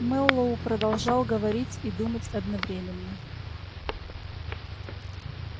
мэллоу продолжал говорить и думать одновременно